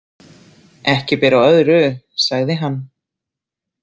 Ekki ber á öðru, sagði hann.